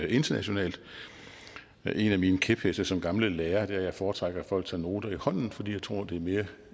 internationalt en af mine kæpheste som gammel lærer er at jeg foretrækker at folk tager noter i hånden fordi jeg tror det er mere